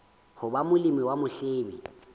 ho ba molemi wa mohwebi